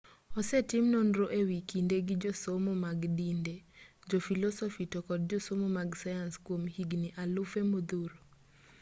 osetim nonro e wi kinde gi josomo mag dinde jofilosofi to kod josomo mag sayans kwom higni alufe modhuro